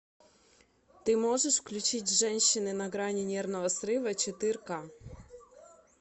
ты можешь включить женщины на грани нервного срыва четыре ка